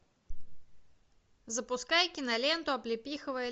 запускай киноленту облепиховое